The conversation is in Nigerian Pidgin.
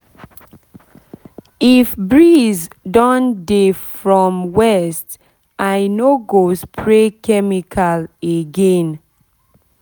if breeze don dey from west i no go spray chemical again chemical again